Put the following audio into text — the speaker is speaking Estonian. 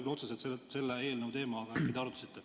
See ei ole küll otseselt selle eelnõu teema, aga äkki te arutasite.